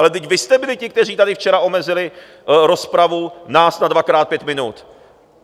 Ale vždyť vy jste byli ti, kteří tady včera omezili rozpravu nás na dvakrát pět minut.